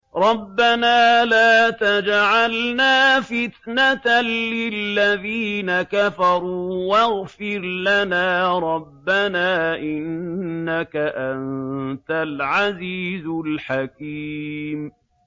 رَبَّنَا لَا تَجْعَلْنَا فِتْنَةً لِّلَّذِينَ كَفَرُوا وَاغْفِرْ لَنَا رَبَّنَا ۖ إِنَّكَ أَنتَ الْعَزِيزُ الْحَكِيمُ